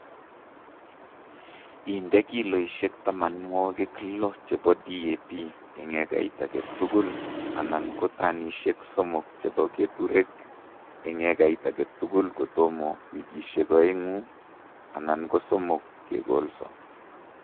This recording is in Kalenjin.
Inde kiloishek tamanwokik lo chebo DAP eng ekail age tugul anan ko tanishek somok chebo keturek eng ekait age tugul kotomo wikishek oeng'u anan ko somok kekolso